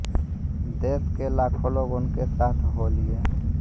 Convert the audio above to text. देश के लाखों लोग उनके साथ हो लिए